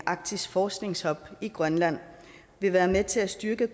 arktisk forskningshub i grønland vil være med til at styrke